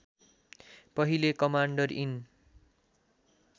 पहिले commander in